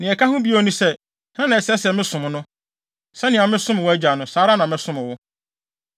Nea ɛka ho bio ne sɛ, hena na ɛsɛ sɛ mesom no? Sɛnea mesom wʼagya no, saa ara na mɛsom wo.”